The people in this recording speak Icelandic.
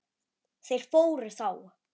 Þeir fóru þá.